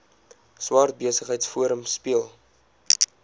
swart besigheidsforum speel